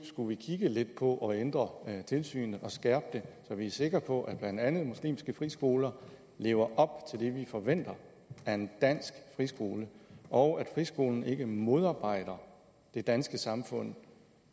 skulle kigge lidt på at ændre tilsynet og skærpe det så vi er sikre på at blandt andet muslimske friskoler lever op til det vi forventer af en dansk friskole og at friskolen ikke modarbejder det danske samfund